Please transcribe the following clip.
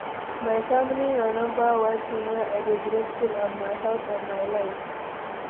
My family na number one thing wey i dey grateful and my health and my life.